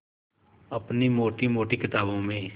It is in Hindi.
अपनी मोटी मोटी किताबों में